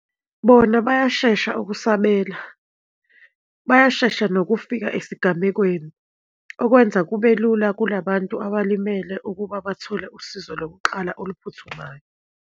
Bona bayashesha ukusabela, bayashesha nokufika esigamekweni, okwenza kube lula kula bantu abalimele ukuba bathole usizo lokuqala oluphuthumayo.